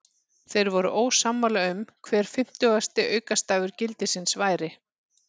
Þeir voru ósammála um hver fimmtugasti aukastafur gildisins væri.